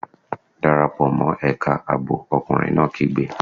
Dára pò mọ́ ẹ̀ka ààbò! Ọkùnrin náà kígbe!